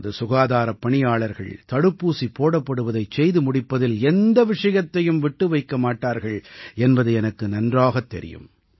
நமது சுகாதாரப் பணியாளர்கள் தடுப்பூசி போடப்படுவதைச் செய்து முடிப்பதில் எந்த விஷயத்தையும் விட்டு வைக்க மாட்டார்கள் என்பது எனக்கு நன்றாகத் தெரியும்